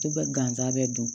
To bɛ gansa bɛ don